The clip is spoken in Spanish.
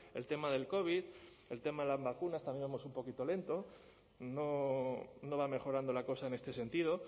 el tema del covid el tema de las vacunas también vamos un poquito lentos no va mejorando la cosa en este sentido